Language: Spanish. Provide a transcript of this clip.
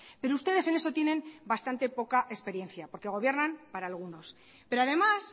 pero ustedes en eso tienen bastante poca experiencia porque gobiernan para algunos pero además